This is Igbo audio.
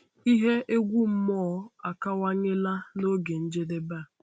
Ihe egwu mmụọ akawanyela na oge njedebe a.